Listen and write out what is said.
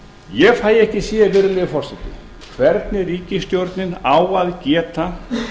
ég fæ ekki séð virðulegi forseti hvernig ríkisstjórnin á að geta